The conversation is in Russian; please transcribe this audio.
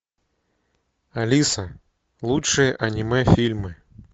алиса лучшие аниме фильмы